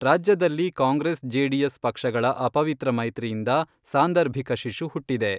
ರಾಜ್ಯದಲ್ಲಿ ಕಾಂಗ್ರೆಸ್ ಜೆಡಿಎಸ್ ಪಕ್ಷಗಳ ಅಪವಿತ್ರ ಮೈತ್ರಿಯಿಂದ ಸಾಂದಾರ್ಭಿಕ ಶಿಶು ಹುಟ್ಟಿದೆ.